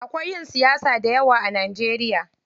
Akwai ƴan siyasa dayawa a Najeriya.